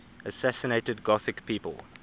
assassinated gothic people